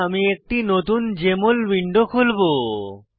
তাই আমি একটি নতুন জেএমএল উইন্ডো খুলবো